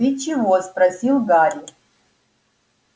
ты чего спросил гарри